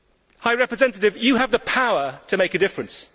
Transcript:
High Representative, you have the power to make a difference.